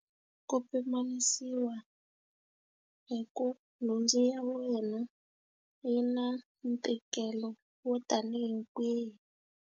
ku pimanisiwa hi ku nhundzu ya wena yi na ntikelo wo ta ni hi kwihi.